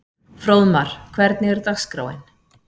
Fróðmar, hvernig er dagskráin?